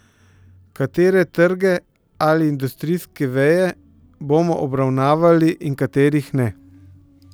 Katere trge ali industrijske veje bomo obravnavali in katerih ne?